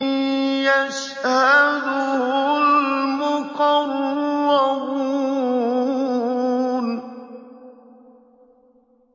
يَشْهَدُهُ الْمُقَرَّبُونَ